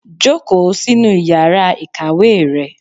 Jókòó sínú Ìyàrá Ikàwé rẹ!